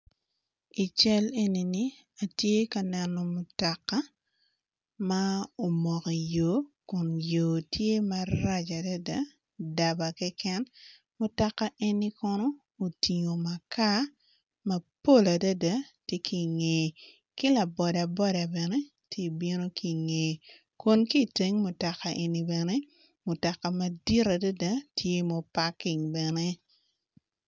I cal enini atye ka neno mutoka ma omoko i yo kun yo tye marac adada daba keken mutoka eni kono otingo makar mapol adada tye kinge ki labodaboda bene tye bino kinge kun kiteng mutoka eni bene mutoka madit adada tye muparking bene.